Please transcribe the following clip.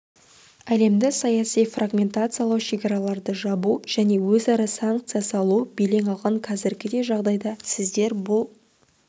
әлемді саяси фрагментациялау шекараларды жабу және өзара санкция салу белең алған қазіргідей жағдайда сіздер бұл